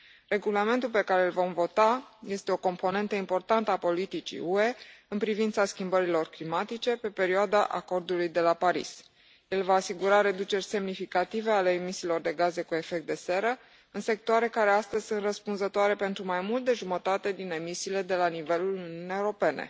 Regulamentul pe care îl vom vota este o componentă importantă a politicii UE în privința schimbărilor climatice pe perioada Acordului de la Paris. El va asigura reduceri semnificative ale emisiilor de gaze cu efect de seră în sectoare care astăzi sunt răspunzătoare pentru mai mult de jumătate din emisiile de la nivelul Uniunii Europene.